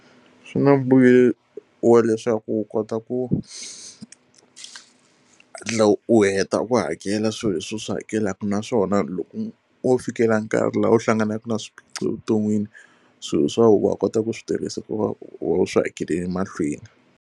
Swi na mbuyelo wa leswaku u kota ku hatla u heta ku hakela swilo leswi u swi hakelaka naswona loko wo fikela nkarhi laha u hlanganaka na swiphiqo vuton'wini, swilo swa wena wa kota ku swi tirhisa hikuva u swi hakelele mahlweni.